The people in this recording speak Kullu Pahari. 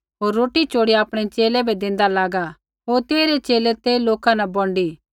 होर रोटी चोड़िया आपणै च़ेले बै देंदा लागा होर तेइरै च़ेले ते लोका न बोंडी